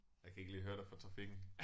Jeg kan ikke lige høre dig for trafikken